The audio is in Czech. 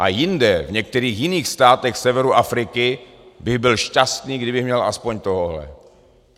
A jinde, v některých jiných státech severu Afriky bych byl šťastný, kdybych měl aspoň tohohle.